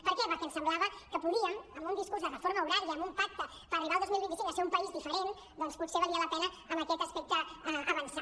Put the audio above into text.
per què perquè ens semblava que podíem amb un discurs de reforma horària amb un pacte per arribar el dos mil vint cinc a ser un país diferent doncs potser valia la pena en aquest aspecte avançar